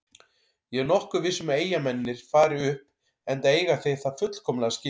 Ég er nokkuð viss um að Eyjamennirnir fari upp enda eiga þeir það fullkomlega skilið.